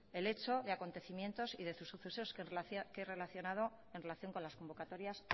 el hecho de acontecimientos y de sucesos en relación con las convocatorias